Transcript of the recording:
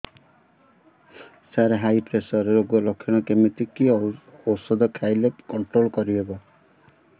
ସାର high pressure ରୋଗର ଲଖଣ କେମିତି କି ଓଷଧ ଖାଇଲେ କଂଟ୍ରୋଲ କରିହେବ